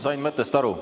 Sain mõttest aru.